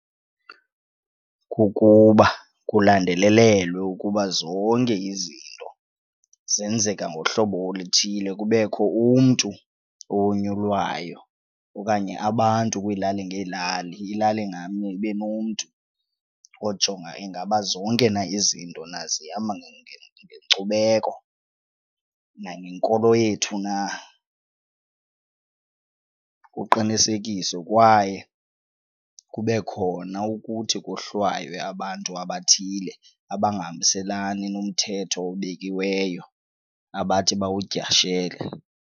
Kukuba kulandelelelwe ukuba zonke izinto zenzeka ngohlobo oluthile kubekho umntu owonyulwayo okanye abantu kwiilali ngeelali, ilali nganye ibe nomntu ojonga ingaba zonke na izinto na zihamba ngenkcubeko, nangenkolo yethu na kuqinisekiswe kwaye kube khona ukuthi kohlwaywe abantu abathile abangahambiselani nomthetho obekiweyo abathi bawudyashele.